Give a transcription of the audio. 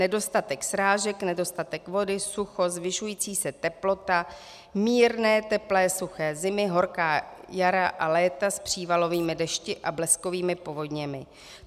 Nedostatek srážek, nedostatek vody, sucho, zvyšující se teplota, mírné teplé suché zimy, horká jara a léta s přívalovými dešti a bleskovými povodněmi.